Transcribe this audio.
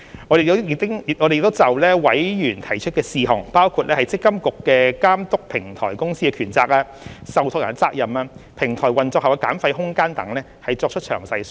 我們亦已就委員提出的事項，包括積金局監督平台公司的權責、受託人的責任、平台運作後的減費空間等作出詳細說明。